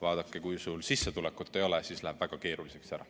Vaadake, kui sul sissetulekut ei ole, siis läheb väga keeruliseks.